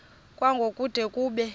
kwango kude kube